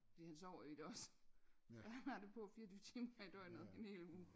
Fordi han sover i det også så han har det på 24 timer i døgnet i en hel uge